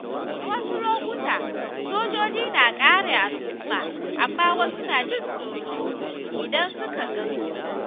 A wasu lokuta, sojoji na kare al’umma, amma wasu na jin tsoro idan suka gansu.